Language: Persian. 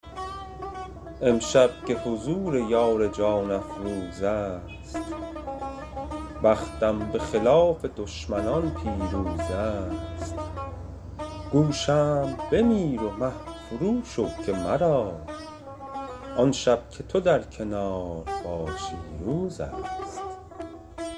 امشب که حضور یار جان افروزست بختم به خلاف دشمنان پیروزست گو شمع بمیر و مه فرو شو که مرا آن شب که تو در کنار باشی روزست